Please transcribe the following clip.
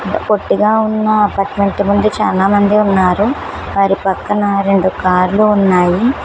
పొట్టిగా ఉన్న చాలామంది ఉన్నారు వారి పక్కన రెండు కార్లు ఉన్నాయి.